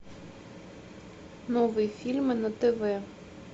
новые фильмы на тв